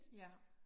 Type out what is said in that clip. Ja